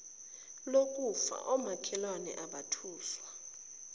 lokufa omakhelwane abethuswa